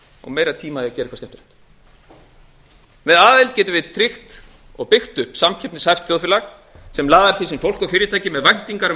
og meiri tíma í að gera eitthvað skemmtilegt með aðild getum við tryggt og byggt upp samkeppnishæft samfélag sem laðar til sín fólk og fyrirtæki með væntingar um